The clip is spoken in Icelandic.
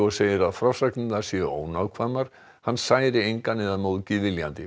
segir að frásagninar séu ónákvæmar hann særi engan eða móðgi viljandi